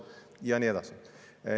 Ja nii edasi.